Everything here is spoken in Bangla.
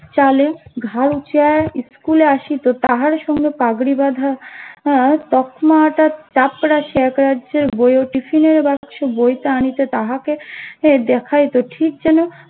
চালে স্কুল এ অসিত তাহার সঙ্গে পাগড়ি বাঁধা তকমা টা চাট্টেরজের বইও টিফিনের বাক্স বইটা আনিতে তাহাকে দ্যাখইতো ঠিক যেন